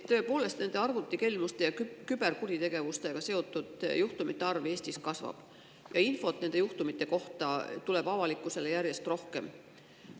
Tõepoolest, arvutikelmuste ja küberkuritegevusega seotud juhtumite arv Eestis kasvab ja infot nende juhtumite kohta tuleb avalikkusele järjest rohkem.